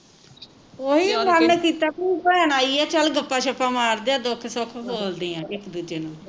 ਓਹੀ ਵੀ ਭੈਣ ਆਈ ਆ ਚੱਲ ਗੱਪਾਂ ਸ਼ਪਾਂ ਮਾਰਦੇ ਏ ਦੁੱਖ ਸੁਖ ਫੋਲਦੇ ਆ ਇਕ ਦੂਜੇ ਨੂੰ